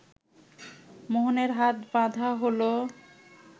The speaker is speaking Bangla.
মোহনের হাত বাঁধা হলো